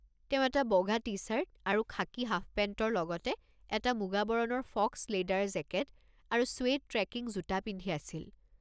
তেওঁ এটা বগা টি-চাৰ্ট আৰু খাকী হাফপেণ্টৰ লগতে এটা মুগা বৰণৰ ফক্স লেডাৰ জেকেট আৰু ছুৱেড ট্ৰেকিং জোতা পিন্ধি আছিল।